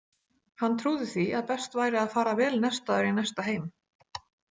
Hann trúði því að best væri að fara vel nestaður í næsta heim.